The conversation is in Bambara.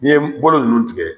N'i ye bolo ninnu tigɛ